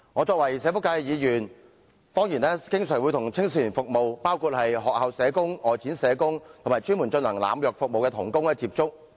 身為社福界議員，我當然經常為青少年服務，並且與學校社工、外展社工，以及專門提供濫藥服務的同工接觸。